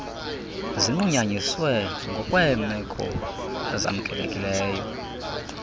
zinqunyanyiswe ngokweemeko ezamkelekileyo